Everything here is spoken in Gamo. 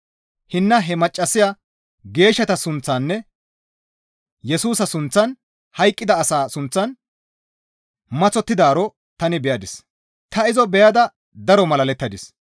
Hinna he maccassaya geeshshata suuththaninne Yesusa sunththan hayqqida asaa suuththan maththottidaaro tani beyadis; ta izo beyada daro malalettadis.